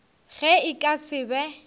ge e ka se be